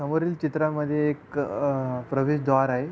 समोरील चित्रा मध्ये एक अ प्रवेश द्वार आहे.